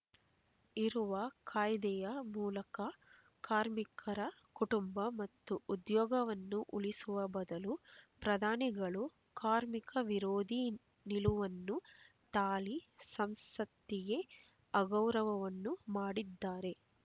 ಇರುವ ಕಾಯ್ದೆಯ ಮೂಲಕ ಕಾರ್ಮಿಕರ ಕುಟುಂಬ ಮತ್ತು ಉದ್ಯೋಗವನ್ನು ಉಳಿಸುವ ಬದಲು ಪ್ರಧಾನಿಗಳು ಕಾರ್ಮಿಕ ವಿರೋಧಿ ನಿಲುವನ್ನು ತಾಳಿ ಸಂಸತ್ತಿಗೆ ಅಗೌರವವನ್ನು ಮಾಡಿದ್ದಾರೆ